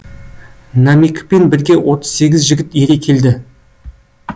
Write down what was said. намикпен бірге отыз сегіз жігіт ере келді